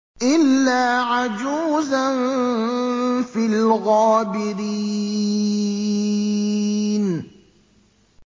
إِلَّا عَجُوزًا فِي الْغَابِرِينَ